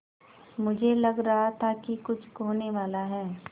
मुझे लग रहा था कि कुछ होनेवाला है